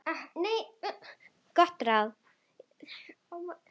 Gott ráð.